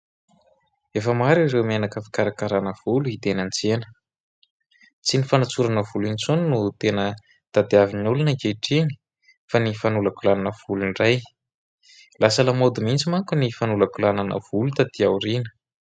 Efa maro ireo menaka fikarakarana volo hita eny an-tsena. Tsy ny fanantsorana volo intsony no tena tadiavin'ny olona ankehitriny fa ny fanolakolanana volo indray. Lasa lamody mintsy manko ny fanolakolanana volo taty aoriana.